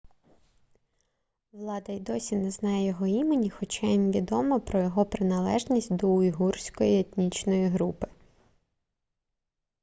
влада й досі не знає його імені хоча їм відомо про його приналежність до уйгурської етнічної групи